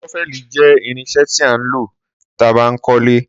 Sọfẹli jẹ ìrínsẹ tí a ń lo tí a bá ń kó ilé